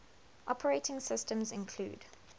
operating systems include